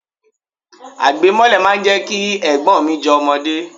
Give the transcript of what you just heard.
Àgbẹ̀ mọ́lẹ̀ máa ń jẹ́ kí Ẹ̀gbọ́n mi jọ ọmọdé.